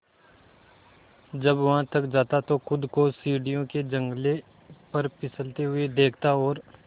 जब वह थक जाता तो खुद को सीढ़ियों के जंगले पर फिसलते हुए देखता और